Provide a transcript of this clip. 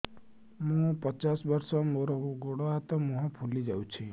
ମୁ ପଚାଶ ବର୍ଷ ମୋର ଗୋଡ ହାତ ମୁହଁ ଫୁଲି ଯାଉଛି